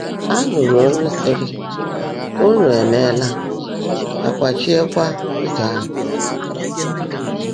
À nụrụ ólú sírị, “únù éméelá,” à kwáchíekwá úzọ́ áhụ́.